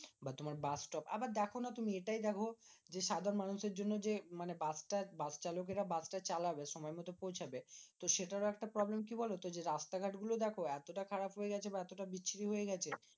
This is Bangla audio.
বা তোমার বাস stop. আবার দেখোনা তুমি এটাই দেখো যে, সাধারণ মানুষের জন্য যে মানে বাসস্ট্যান্ড বাসচালকেরা বাসটা চালাবে সময় মতো পৌঁছবে। তো সেটার একটা problem কি বলতো? যে রাস্তা ঘাট গুলো দেখো এতটা খারাপ হয়েগেছে বা এতটা বিশ্রী হয়ে গেছে